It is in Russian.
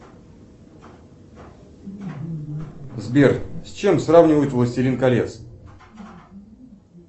сбер с чем сравнивать властелин колец